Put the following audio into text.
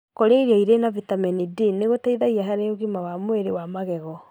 Kũrĩa irio irĩ na vitemeni D nĩgũteithagia harĩ ũgima wa mwĩrĩ wa magego